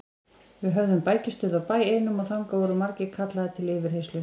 Við höfðum bækistöð á bæ einum og þangað voru margir kallaðir til yfirheyrslu.